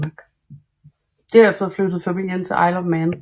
Derefter flyttede familien til Isle of Man